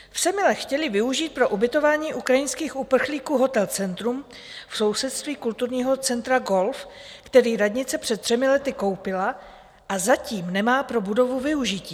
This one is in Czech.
V Semilech chtěli využít pro ubytování ukrajinských uprchlíků hotel Centrum v sousedství kulturního centra Golf, který radnice před třemi lety koupila, a zatím nemá pro budovu využití.